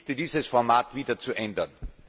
Ich bitte, dieses Format wieder zu ändern.